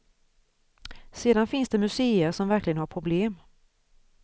Sedan finns det museer som verkligen har problem.